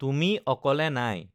তুমি অকলে নাই৷